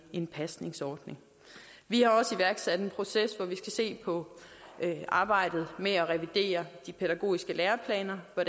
i en pasningsordning vi har også iværksat en proces hvor vi skal se på arbejdet med at revidere de pædagogiske læreplaner og